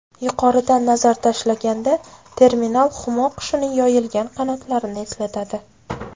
Yuqoridan nazar tashlaganda terminal humo qushining yoyilgan qanotlarini eslatadi.